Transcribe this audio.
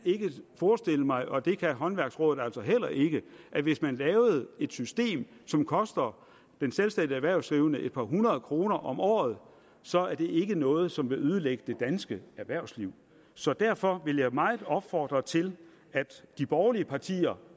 forestille mig og det kan håndværksrådet altså heller ikke at hvis man laver et system som koster den selvstændige erhvervsdrivende et par hundrede kroner om året så er det noget som vil ødelægge det danske erhvervsliv så derfor vil jeg meget opfordre til at de borgerlige partier